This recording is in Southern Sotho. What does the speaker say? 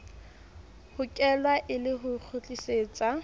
hokelwa e le ho kgutlisetsa